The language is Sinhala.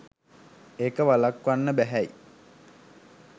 ඒක වළක්වන්න බැහැයි